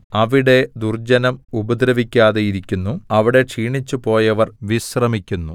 അവിടെ ദുർജ്ജനം ഉപദ്രവിക്കാതെയിരിക്കുന്നു അവിടെ ക്ഷീണിച്ച് പോയവർ വിശ്രമിക്കുന്നു